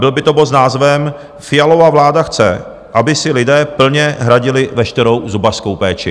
Byl by to bod s názvem Fialova vláda chce, aby si lidé plně hradili veškerou zubařskou péči.